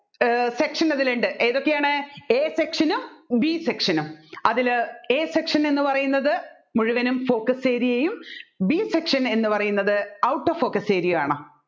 ഏർ section അതിലുണ്ട് ഏതൊക്കെയാണ് A section നും B section നും അതിൽ A section എന്ന് പറയുന്നത് മുഴുവനും focus area യെയും B section എന്ന് പറയുന്നത് out of focus area യുമാണ്